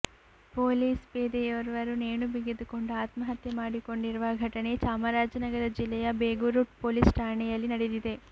police ಪೇದೆಯೋರ್ವರು ನೇಣು ಬಿಗಿದುಕೊಂಡು ಆತ್ಮಹತ್ಯೆ ಮಾಡಿಕೊಂಡಿರುವ ಘಟನೆ ಚಾಮರಾಜನಗರ ಜಿಲ್ಲೆಯ ಬೇಗೂರು ಪೊಲೀಸ್ ಠಾಣೆಯಲ್ಲಿ ನಡೆದಿದೆ